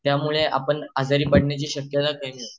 त्यामुळे आपण आजारी पडण्याची शक्यता कमी असते